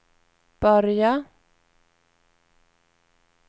börja